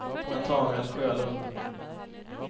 Natanael Sjölund